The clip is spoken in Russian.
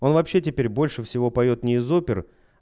он вообще теперь больше всего поёт не из опер